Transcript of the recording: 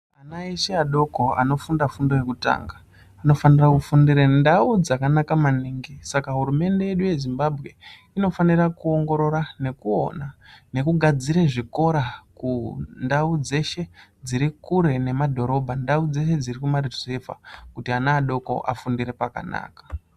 Ana eshe adoko anofunda fundo yekutanga anofanira kufundire ndau dzakanaka maningi. Saka hurumende yedu yeZimbabwe inofanira kuongorora nekuona nekugadzire zvikora kundau dzeshe dziri kure nemadhorobha, ndau dzeshe dziri kumaruzevha, kuti ana adoko afundire pakanaka.